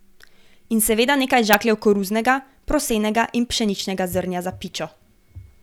In seveda nekaj žakljev koruznega, prosenega in pšeničnega zrnja za pičo.